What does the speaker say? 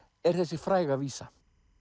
er þessi fræga vísa